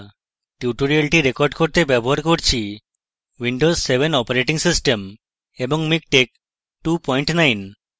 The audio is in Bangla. এই tutorial record করতে আমি windows7 7 operating system এবং miktex29 ব্যবহার করছি